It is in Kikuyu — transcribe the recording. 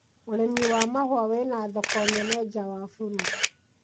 ũrĩmi wa mahũa wĩna thoko nene nja wa bũrũri